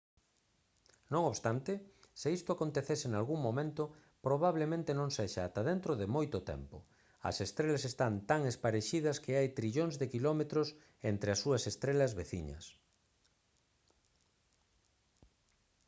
non obstante se isto acontecese nalgún momento probablemente non sexa ata dentro de moito tempo. as estrelas están tan esparexidas que hai trillóns de quilómetros entre as súas estrelas «veciñas»